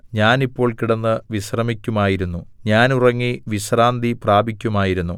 ഞാൻ ഇപ്പോൾ കിടന്ന് വിശ്രമിക്കുമായിരുന്നു ഞാൻ ഉറങ്ങി വിശ്രാന്തി പ്രാപിക്കുമായിരുന്നു